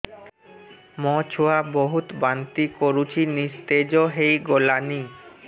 ମୋ ଛୁଆ ବହୁତ୍ ବାନ୍ତି କରୁଛି ନିସ୍ତେଜ ହେଇ ଗଲାନି